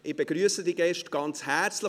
Ich begrüsse die Gäste ganz herzlich.